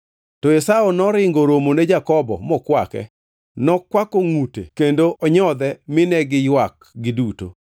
To Esau noringo oromone Jakobo mokwake; nokwako ngʼute kendo onyodhe mine giywak giduto.